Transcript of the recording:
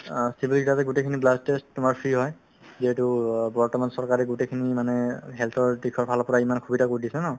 অ, civil গোটেইখিনি blood test তোমাৰ free হয় যিহেতু অ বৰ্তমান চৰকাৰে গোটেইখিনি মানে health ৰ দিশৰ ফালৰ পৰা ইমান সুবিধা কৰি দিছে ন